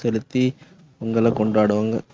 செலுத்தி பொங்கலை கொண்டாடுவாங்க.